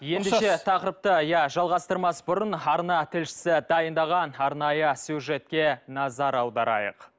ендеше тақырыпты иә жалғастырмас бұрын арна тілшісі дайындаған арнайы сюжетке назар аударайық